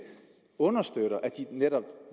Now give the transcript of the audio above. understøtter at de netop